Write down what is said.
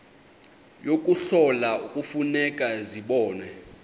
yokuhlola kufuneka zibonwe